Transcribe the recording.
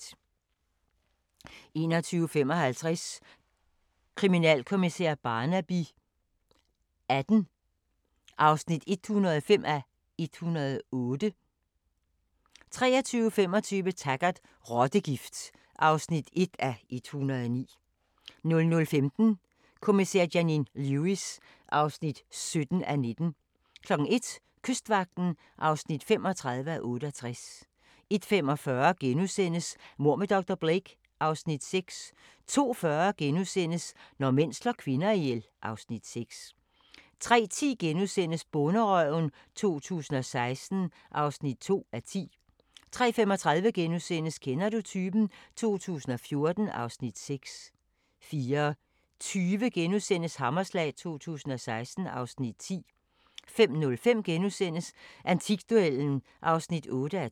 21:55: Kriminalkommissær Barnaby XVIII (105:108) 23:25: Taggart: Rottegift (1:109) 00:15: Kommissær Janine Lewis (17:19) 01:00: Kystvagten (35:68) 01:45: Mord med dr. Blake (Afs. 6)* 02:40: Når mænd slår kvinder ihjel (Afs. 6)* 03:10: Bonderøven 2016 (2:10)* 03:35: Kender du typen? 2014 (Afs. 6)* 04:20: Hammerslag 2016 (Afs. 10)* 05:05: Antikduellen (8:12)*